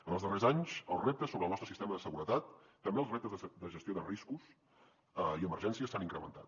en els darrers anys els reptes sobre el nostre sistema de seguretat també els reptes de gestió de riscos i emergències s’han incrementat